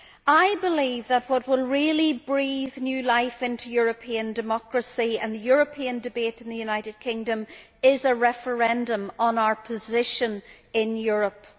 I believe that what will really breathe new life into European democracy and the European debate in the United Kingdom is a referendum on our position in Europe.